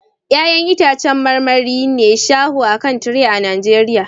Ya'yan itãcen marmari ne shaho a kan tire a Najeriya